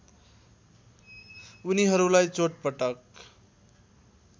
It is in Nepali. उनीहरूलाई चोटपटक